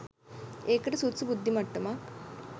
ඒකට සුදුසු බුද්ධිමට්ටමක්